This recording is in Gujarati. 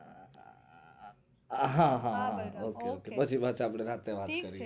હા હા ok ok પછી આપણે રાત્રે વાત કરીશું